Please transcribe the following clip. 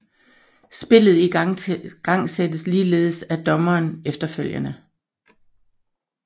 Spillet igangsættes ligeledes af dommeren efterfølgende